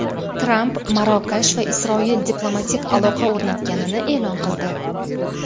Tramp Marokash va Isroil diplomatik aloqa o‘rnatganini e’lon qildi.